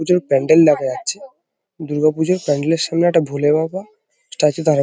পুজোর প্যান্ডেল দেখা যাচ্ছে। দুর্গাপুজোর প্যান্ডেল -এর সামনে একটা ভোলে বাবা স্ট্যাচু দাড়ানো ।